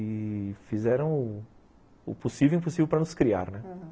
E... fizeram o possível e o impossível para nos criar, né, aham.